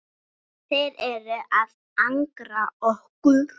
Þeir eru að angra okkur.